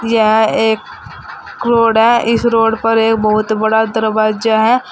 यह एक घोड़ा इस रोड पर एक बहुत बड़ा दरवाजा है।